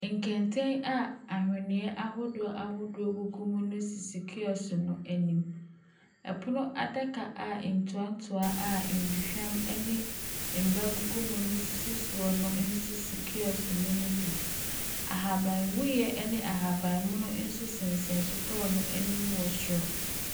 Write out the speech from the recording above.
Nkete a ahweneɛ ahodoɔ ahohodoɔ gugu mu na esisi kiosk bi anim. Ɛpono adaka a ntoatoa a nduhwam ne mba gugu mu nso sisi sss Kiok no mu bi. Ahabawuiɛ ne ahabanmono nso sensan kiok no mu wɔ soro.